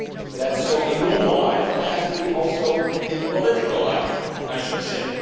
That is so in normal life and that has to apply also in political life, I should say.